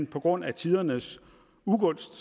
på grund af tidernes ugunst